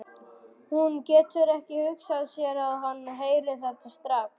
Hún getur ekki hugsað sér að hann heyri þetta strax.